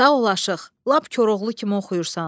“Sağ ol aşıq, lap Koroğlu kimi oxuyursan.”